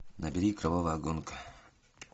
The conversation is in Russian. набери кровавая гонка